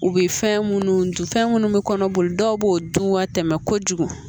U bɛ fɛn minnu dun fɛn minnu bɛ kɔnɔboli dɔw b'o dun ka tɛmɛ kojugu